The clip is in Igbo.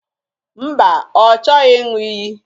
Mba, ọ chọghị ịṅụ iyi